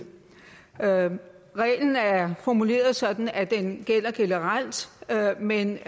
reglen er formuleret sådan at den gælder generelt men